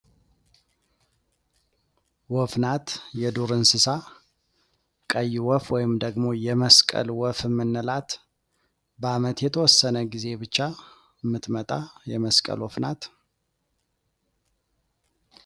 ወፍ ናት፣ የዱር እንስሳ ፤ቀይ ወፍ ወይም ደሞ የመስቀል ወፍ የምንላት በአመት የተወሰነ ጊዜ ብቻ የምትመጣ የመስቀል ወፍ ናት።